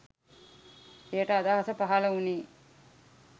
එයට අදහස පහල උනේ